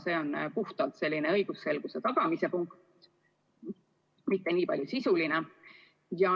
See on puhtalt selline õigusselguse tagamise punkt, mitte niivõrd sisuline.